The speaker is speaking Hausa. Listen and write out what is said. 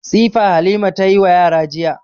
Tsifa Halima ta yi wa yara jiya.